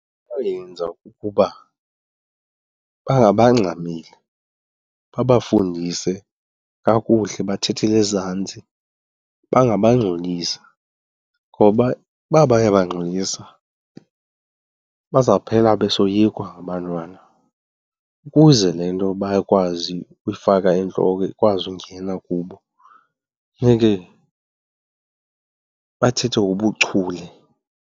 kukuba bangabangxameli, babafundise kakuhle bathathele ezantsi, bangabangxolisi. Ngoba uba bayabagxolisa bazawuphela besoyikwa ngabantwana. Ukuze le nto bakwazi uyifaka entloko ikwazi ungena kubo funeke bathethe ngobuchule.